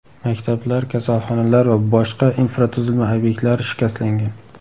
Maktablar, kasalxonalar va boshqa infratuzilma obyektlari shikastlangan.